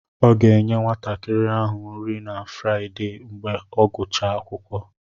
Ọ ga-enye nwatakịrị ahụ nri na Fraịdee mgbe ọ gụchaa akwụkwọ.